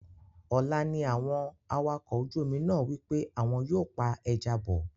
Ọ̀la ni àwọn awakọ̀ ojú omi náà wí pé àwọn yóò pa ẹja bọ̀